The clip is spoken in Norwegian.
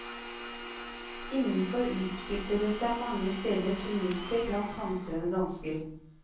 Innenfor utspilte det seg mange steder tumulter blant hamstrende dansker.